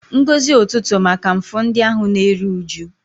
Ngọzi ụtụtụ maka mfu ndị ahụ na-eru uju.